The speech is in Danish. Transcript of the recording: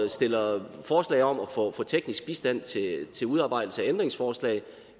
stiller forslag om at få teknisk bistand til udarbejdelse af ændringsforslag